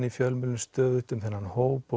í fjölmiðlum stöðugt um þennan hóp